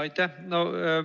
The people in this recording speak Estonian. Aitäh!